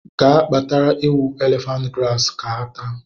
Ga kpatara ewu elephant grass ha ga ata!